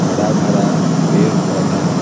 हरा भरा पेड़ पौधा--